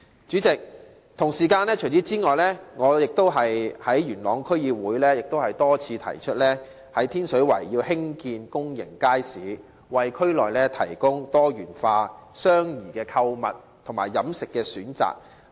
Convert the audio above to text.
主席，此外，我亦曾於元朗區議會多次提出需要在天水圍興建公眾街市，為區內提供多元化及相宜的購物和飲食選擇。